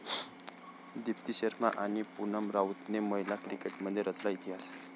दीप्ती शर्मा आणि पुनम राऊतने महिला क्रिकेटमध्ये रचला इतिहास